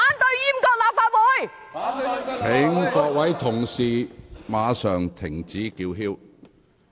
請各位議員立即停止叫喊。